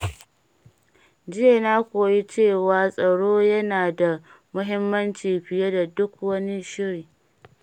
Jiya, na koyi cewa tsaro yana da muhimmanci fiye da duk wani shiri.